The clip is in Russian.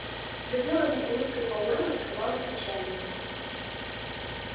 за деланной улыбкой пауэлла скрывалось отчаяние